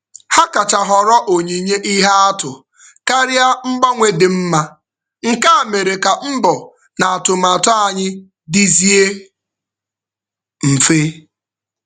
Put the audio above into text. Ha kacha họrọ onyinye ihe atụ karịa mgbanwe dị mma, nke a mere ka mbọ na atụmatụ anyị dizie mfe.